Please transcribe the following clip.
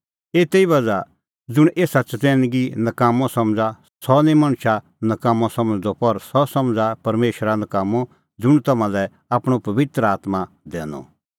एते ई बज़्हा ज़ुंण एसा चतैनगी नकाम्मअ समझ़ा सह निं मणछा नकाम्मअ समझ़दअ पर सह समझ़ा परमेशरा नकाम्मअ ज़ुंण तम्हां लै आपणअ पबित्र आत्मां दैआ